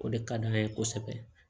O de ka d'an ye kosɛbɛ